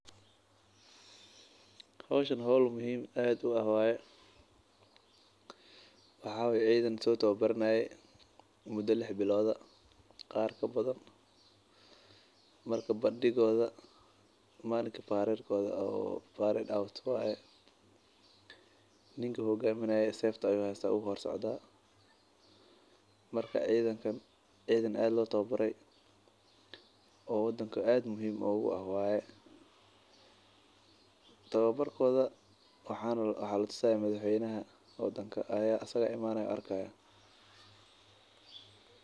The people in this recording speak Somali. Hawshan hal muhiim ahad u ah way. Waxa weey ciidaanto tabobarinaya mudah lah bilooda qaar ka badan marka badii kooda maanka parade kooda. parade out waay ninku hoggaaminaya seef u hor jeedada. Markaa ciidankana iyo adeeno loo tababaray oo wadanka aad muhiim u ah way. Tababarkooda waxaanu latuunsan madaxweynaha oo danka ayaa asaga imaanaya arkaya.